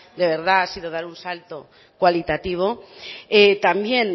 de verdad ha sido dar un salto cualitativo también